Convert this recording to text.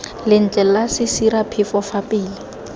lentle la sesiraphefo fa pele